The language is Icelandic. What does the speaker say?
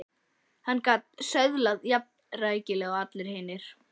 Hann gat söðlað um jafnrækilega og allir hinir.